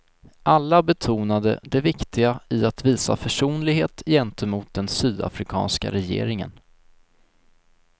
Alla betonade det viktiga i att visa försonlighet gentemot den sydafrikanska regeringen.